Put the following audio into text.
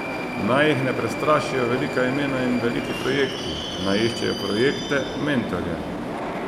Naj jih ne prestrašijo velika imena in veliki projekti, naj iščejo projekte, mentorje.